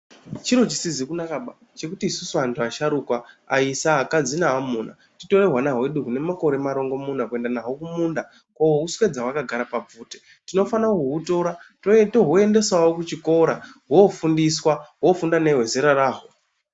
Chiro chisizi kunakaba chekuti isusu antu asharukwa, aisa, akadzi naamuna titore hwana hwedu hune makore marongomuna kuenda naho kumunda kohuswedza hwakagara pabvute. Tinofana kuhutora, tohuendesawo kuchikora, hofundiswa, hofunda nehwezera raho.